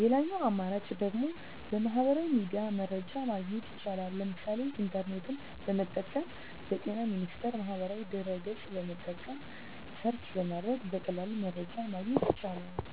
ሌላኛው አማራጭ ደግሞ በሚህበራዊ ሚዲያ መረጃ ማግኘት ይቻላል ለምሳሌ ኢንተርኔትን በመጠቀም በጤና ሚኒስቴር ማህበራዊ ድህረ ገፅን በመጠቀም ሰርች በማድረግ በቀላሉ መረጃን ማግኘት ይቻላል።